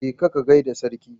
Ka je ka gaida Sarki.